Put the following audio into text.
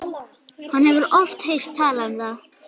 Hann hefur oft heyrt talað um það.